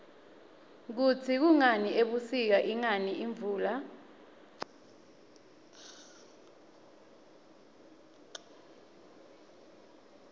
kutsi kungani ebusika ingani imvula